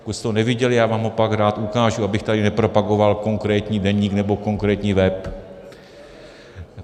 Pokud jste ho neviděli, já vám ho pak rád ukážu, abych tady nepropagoval konkrétní deník nebo konkrétní web.